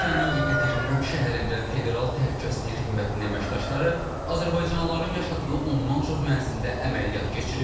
Rusiyanın Yekaterinburq şəhərində Federal Təhlükəsizlik Xidmətinin əməkdaşları azərbaycanlıların yaşadığı ondan çox mənzildə əməliyyat keçirib.